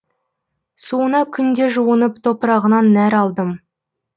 суына күнде жуынып топырағынан нәр алдым